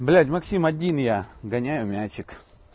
блять максим один я гоняю мячик